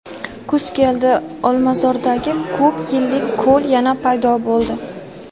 Kuz keldi: Olmazordagi "ko‘p yillik ko‘l" yana paydo bo‘ldi.